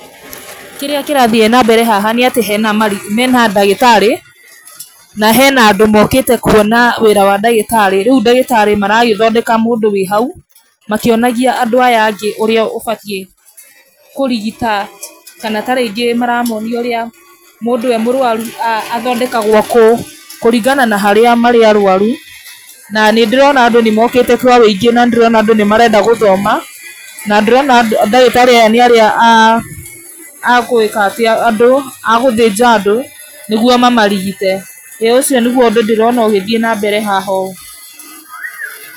Kĩrĩa kĩrathiĩ na mbere haha nĩ atĩ hena mandagĩtarĩ na hena andũ mokĩte kwona wĩra wa ndagĩtarĩ, rĩu ndagĩtarĩ maragĩthondeka mũndũ ũrĩ hau, makĩonagia andũ aya angĩ ũrĩa ũbatie kũrigita kana ta rĩngĩ maramonia ũrĩa mũndũ arĩ mũrwaru athondekagwo kũ, kũringana na harĩa marĩ arwaru na nĩ ndĩrona andũ nĩ mokĩte kwa woingĩ na nĩ ndĩrona andũ nĩ marenda gũthoma na ndĩrona ndagĩtarĩ aya nĩ atĩ a gwĩka atĩ andũ, a gũthĩnja andũ nĩguo mamarigite, ĩĩ ũcio nĩguo ũndũ ũrĩa ndĩrona ũgĩthiĩ na mbere haha ũũ.